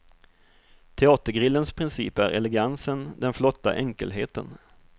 Teatergrillens princip är elegansen, den flotta enkelheten.